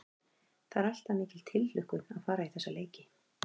Það er alltaf mikil tilhlökkun að fara í þessa leiki.